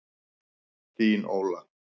Þín, Óla.